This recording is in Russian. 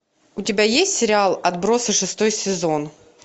у тебя есть сериал отбросы шестой сезон